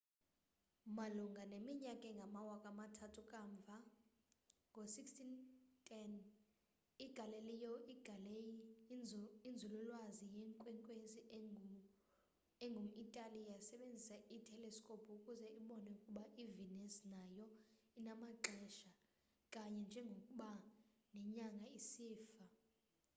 malunga neminyaka engamawaka amathathu kamva ngo-1610 igalileo galilei inzululwazi yeenkwenkwenzi engum-itali yasebenzisa iteleskophu ukuze ibone ukuba i-venus nayo inamaxesha kanye njengokuba nenyanga isifa